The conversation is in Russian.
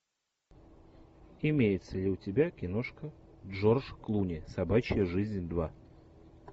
имеется ли у тебя киношка джордж клуни собачья жизнь два